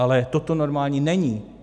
Ale toto normální není.